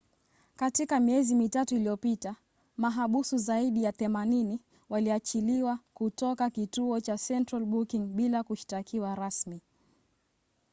katika miezi mitatu iliyopita mahabusu zaidi ya 80 waliachiliwa kutoka kituo cha central booking bila kushtakiwa rasmi